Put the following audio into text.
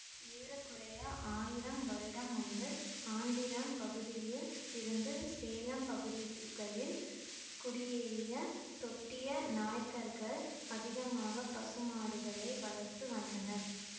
ஏற குறைய ஆயிரம் வருடம் முன்பு ஆந்திரம் பகுதியில் இருந்து சேலம் பகுதிகளில் குடியேறிய தொட்டிய நாயக்கர்கள் அதிகமாக பசுமாடுகளை வளர்த்து வந்தனர்